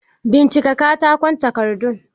Bincika katakon takardu!